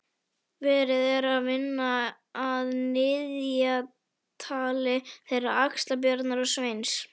Verið er að vinna að niðjatali þeirra Axlar-Bjarnar og Sveins.